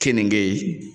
Keninge